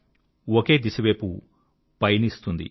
ఒకే దిశ వైపు పయనిస్తుంది